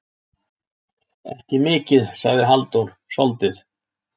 Ekki mikið, sagði Halldór, soldið.